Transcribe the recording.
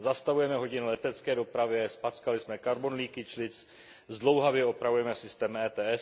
Zastavujeme hodiny letecké dopravě, zpackali jsme carbon leakage list zdlouhavě opravujeme systém ETS.